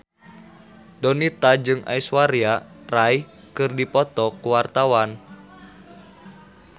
Donita jeung Aishwarya Rai keur dipoto ku wartawan